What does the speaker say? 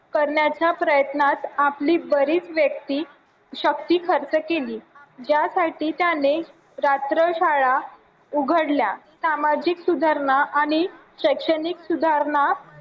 करण्याच्या प्रयत्नात आपली बरीच व्यक्ती शक्ती खर्च केली ज्यासाठी त्याने रात्र शाळा उघडल्या सामाजिक सुधारणा आणि शैक्षणिक सुधारणा